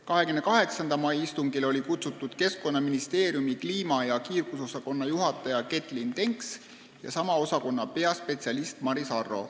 28. mai istungile olid kutsutud Keskkonnaministeeriumi kliima- ja kiirgusosakonna juhataja Getlyn Denks ja sama osakonna peaspetsialist Maris Arro.